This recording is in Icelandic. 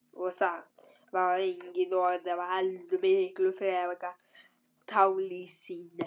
Og samt var það engin von heldur miklu fremur tálsýn.